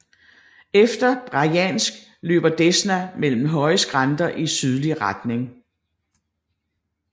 Efter Brjansk løber Desna mellem høje skrænter i sydlig retning